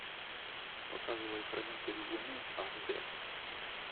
показывай хранитель луны аш дэ